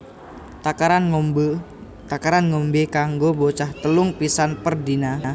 Takaran ngombe kanggo bocah telung pisan per dina